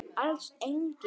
Alls engin.